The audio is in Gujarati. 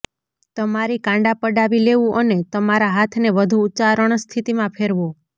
તમારી કાંડા પડાવી લેવું અને તમારા હાથને વધુ ઉચ્ચારણ સ્થિતિમાં ફેરવો